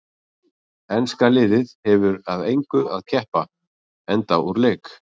Enska liðið hefur að engu að keppa enda úr leik.